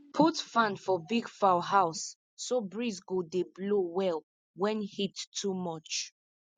put fan for big fowl house so breeze go dey blow well when heat too much